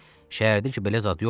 Şəhərdəki belə zad yoxdur.